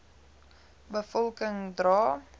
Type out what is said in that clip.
be volking dra